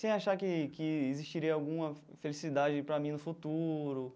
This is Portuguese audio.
Sem achar que que existiria alguma felicidade para mim no futuro.